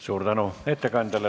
Suur tänu ettekandjale!